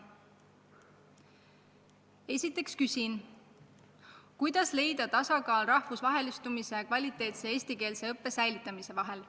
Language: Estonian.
Esiteks küsin, kuidas leida tasakaal rahvusvahelistumise ja kvaliteetse eestikeelse õppe säilitamise vahel.